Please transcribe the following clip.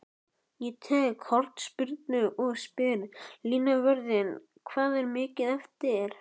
Ég tek hornspyrnu og spyr línuvörðinn hvað er mikið eftir?